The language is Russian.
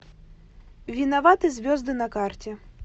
виноваты звезды на карте